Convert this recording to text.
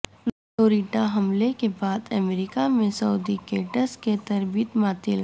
Florida حملے کے بعد امریکہ میں سعودی کیڈٹس کی تربیت معطل